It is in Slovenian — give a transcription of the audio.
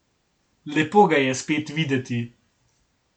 Lepo ga je spet videti.